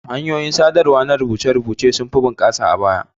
Hanyoyin sadarwa na rubuce-rubuce sunfi bunƙasa a baya.